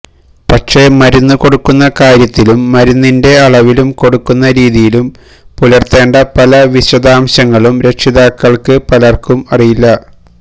പക്ഷേ മരുന്ന് കൊടുക്കുന്ന കാര്യത്തിലും മരുന്നിന്റെ അളവിലും കൊടുക്കുന്ന രീതിയിലും പുലര്ത്തേണ്ട പല വിശദാംശങ്ങളും രക്ഷിതാക്കള്ക്ക് പലര്ക്കും അറിയില്ല